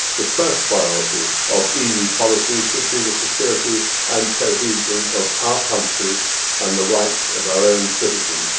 The first priority of EU policy should be the security and cohesion of our countries and the rights of our own citizens.